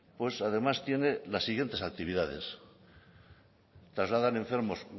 pues además tiene las siguientes actividades trasladan enfermos